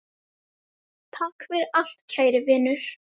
Takk fyrir allt kæri Vinur.